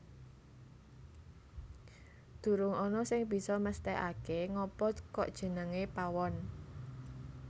Durung ana sing bisa mesthekake ngapa kok jenengé Pawon